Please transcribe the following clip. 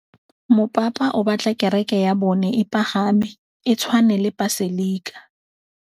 Mopapa o batla kereke ya bone e pagame, e tshwane le paselika.